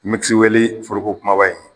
foroko kubaba in